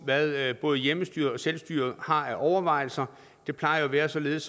hvad både hjemmestyret og selvstyret har af overvejelser det plejer at være således